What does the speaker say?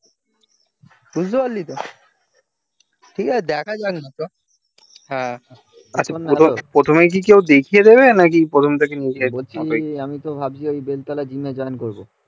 বুঝতে পারলিত ঠিক আছে দেখা যাক না হ্যাঁ প্রথমেই কি কেউ দেখিয়ে দেবে নাকি প্রথম থেকে নিজে করতে হবে আমি তো ভাবছি বেলতলা জিম এ join করবো